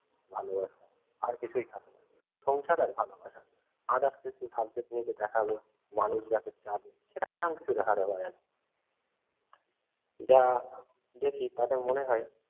ভালোবাসা আর কিছুই থাকে না। সংসার আর ভালোবাসা others কিছু subject নিয়ে এসে দেখালো মানুষ যাকে চাবে সেটা তেমন কিছু দেখাতে পারে না। যা দেখি তাতে মনে হয়